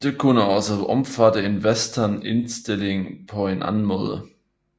Det kunne også omfatte en Western indstilling på anden måde